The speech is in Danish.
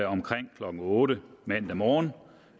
omkring klokken otte mandag morgen